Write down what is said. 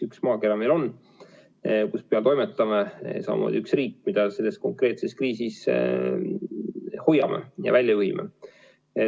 Üks maakera meil on, kus peal me toimetame, samamoodi üks riik, mida me selles konkreetses kriisis hoiame, püüdes teda sealt välja juhtida.